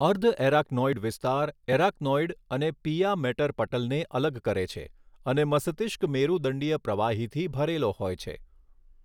અર્ધએરાકનોઇડ વિસ્તાર એરાકનોઇડ અને pia mater પટલને અલગ કરે છે અને મસતિષ્ક મેરુદંડિય પ્રવાહીથી ભરેલો હોય છે.